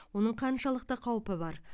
оның қаншалықты қаупі бар